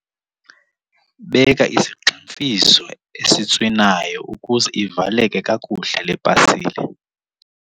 Beka isigximfizo esitswinayo ukuze ivaleke kakuhle le pasile.